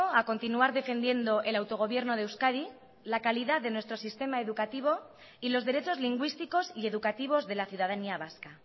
a continuar defendiendo el autogobierno de euskadi la calidad de nuestro sistema educativo y los derechos lingüísticos y educativos de la ciudadanía vasca